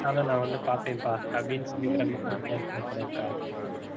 நான் வந்து பார்ப்பேன்ப்பா அப்படின்னு சொல்லி படம் இருக்கா